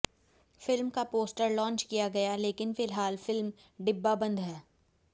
film का poster launch किया गया लेकिन फिलहाल फिल्म डिब्बाबंद है